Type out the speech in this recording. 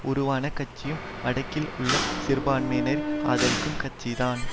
உருவான கட்சியும் வடக்கில் உள்ள சிறுபான்மையினரை ஆதரிக்கும் கட்சிதான்